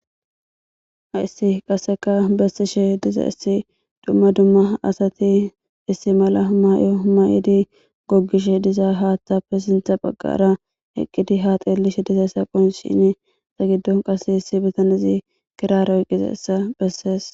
haissi qasseka bessishe diza issi dumma dumma asati issi mala humay7o humay7edi goggishe diza haaththapfe sintha baggara eqqidi haaxeelishe diza issaqon shin sa giddon qas issi bitanezi kiraaroy gizessa bessees